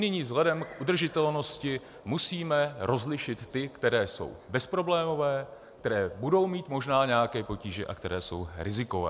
Nyní vzhledem k udržitelnosti musíme rozlišit ty, které jsou bezproblémové, které budou mít možná nějaké potíže a které jsou rizikové.